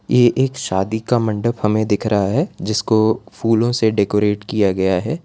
ये एक शादी का मंडप हमें दिख रहा है जिसको फूलों से डेकोरेट किया गया है।